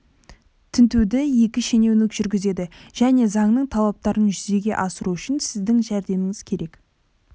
тінтуді екі шенеунік жүргізеді және заңның талаптарын жүзеге асыру үшін сіздің жәрдеміңіз керек